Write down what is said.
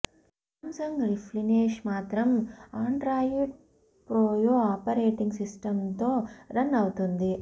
Samsung రిప్లినెష్ మాత్రం Android Froyo operating సిస్టమ్తో రన్ అవుతుంది